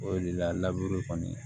O de la laburu kɔni